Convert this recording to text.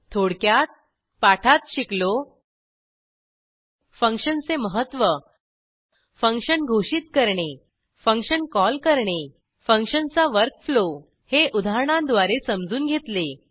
थोडक्यात पाठात शिकलो फंक्शनचे महत्व फंक्शन घोषित करणे फंक्शन कॉल करणे फंक्शनचा वर्क फ्लो हे उदाहरणांद्वारे समजून घेतले